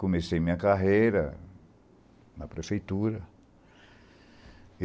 Comecei minha carreira na prefeitura.